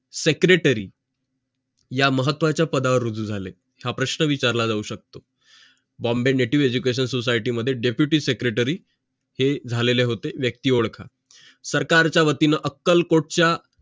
secretary या महत्वाचा पदावर रुजू झाले हा प्रश्न विचारला जाऊ शकतो bombay native education society मध्ये deputy secretary हे झालेले होते व्यक्ती ओडखा सरकारचा वतीने अक्कल कोटचा